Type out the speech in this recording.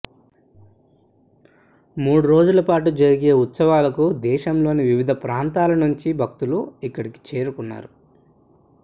మూడు రోజులపాటు జరిగే ఈ ఉత్సవాలకు దేశంలోని వివిధ ప్రాంతాల నుంచి భక్తులు ఇక్కడి చేరుకున్నారు